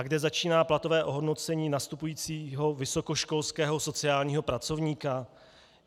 A kde začíná platové ohodnocení nastupujícího vysokoškolského sociálního pracovníka?